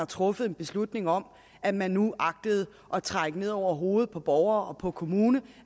truffet beslutning om at man agtede at trække det ned over hovedet på borgere og kommune